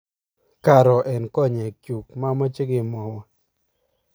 karo eng konyek chu mamache kemwowon